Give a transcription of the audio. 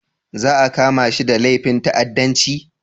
Za a kama shi da laifin ta'addanci